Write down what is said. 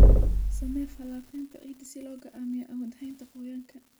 Samee falanqaynta ciidda si loo go'aamiyo awoodda haynta qoyaanka.